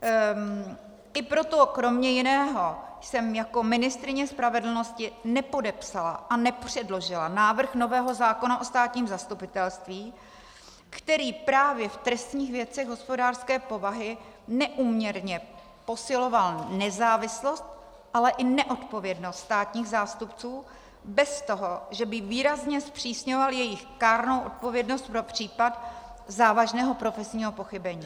I proto kromě jiného jsem jako ministryně spravedlnosti nepodepsala a nepředložila návrh nového zákona o státním zastupitelství, který právě v trestních věcech hospodářské povahy neúměrně posiloval nezávislost, ale i neodpovědnost státních zástupců bez toho, že by výrazně zpřísňoval jejich kárnou odpovědnost pro případ závažného profesního pochybení.